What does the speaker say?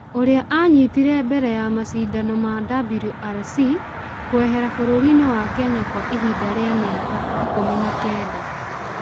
ũrĩa aanyitire mbere ya macindano ma WRC kwehera bũrũri wa Kenya kwa ihinda rĩa mĩaka 19.